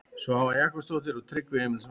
Svava Jakobsdóttir og Tryggvi Emilsson.